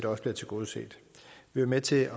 også bliver tilgodeset vi var med til